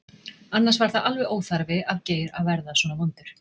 Annars var það alveg óþarfi af Geir að verða svona vondur.